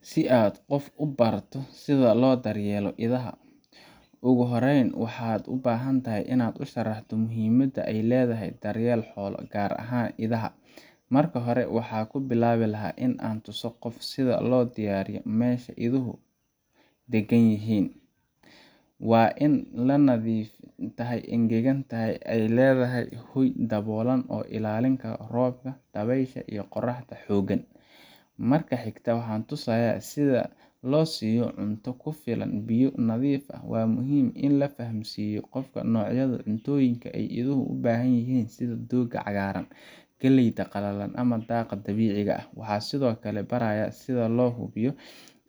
Si aad qof ugu barato sida loo daryeelo idaha, ugu horreyn waxaad u baahan tahay inaad u sharaxdo muhiimada ay leedahay daryeelka xoolaha, gaar ahaan idaha. Marka hore, waxaan ku bilaabi lahaa in aan tuso qofka sida loo diyaariyo meesha ay iduhu deggan yihiin waa in ay nadiif tahay, engegan tahay oo ay leedahay hoy daboolan oo ka ilaalin kara roobka, dabaysha iyo qorraxda xooggan. Marka xigta, waxaan tusayaa sida loo siiyo cunto ku filan iyo biyo nadiif ah. Waa muhiim in la fahamsiiyo qofka noocyada cuntooyinka ay iduhu u baahan yihiin sida doogga cagaaran, galleyda qalalan ama daaqa dabiiciga ah. Waxaan sidoo kale barayaa sida loo hubiyo